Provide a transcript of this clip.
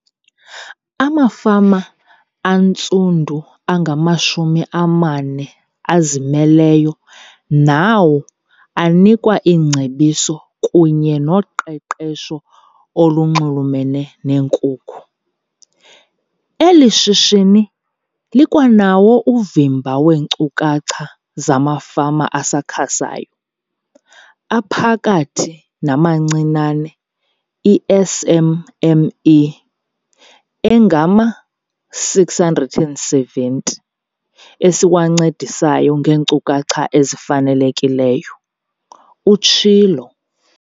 Amafama antsundu angamashumi amane azimeleyo nawo anikwa iingcebiso kunye noqeqesho olunxulumene neenkukhu. "Eli shishini likwanawo uvimba weenkcukacha zamafama asakhasayo, aphakathi namancinane, i-SMME, angama-670 esiwancedisayo ngeenkcukacha ezifanelekileyo," utshilo.